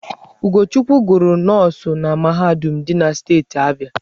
Ugochukwu gụrụ nọọsụ na mahadum dị na steeti Abịa.